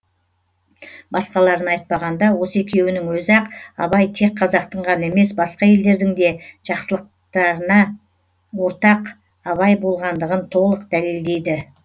басқаларын айтпағанда осы екеуінің өзі ақ абай тек қазақтың ғана емес басқа елдердің де жақсыларына ортақ абай болғандығын толық дәлелдейді